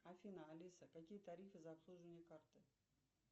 афина алиса какие тарифы за обслуживание карты